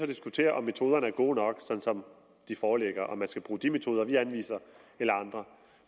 diskutere om metoderne er gode nok sådan som de foreligger og om man skal bruge de metoder vi anviser eller andre